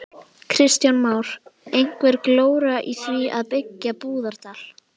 Kristján Már: Einhver glóra í því að byggja í Búðardal?